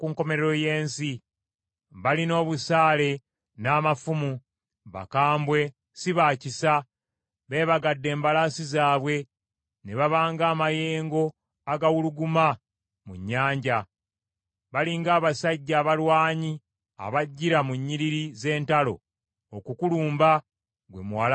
Balina obusaale n’amafumu, bakambwe si ba kisa. Beebagadde embalaasi zaabwe ne baba ng’amayengo agawuluguma mu nnyanja; bali ng’abasajja abalwanyi abajjira mu nnyiriri z’entalo okukulumba, ggwe Muwala wa Babulooni.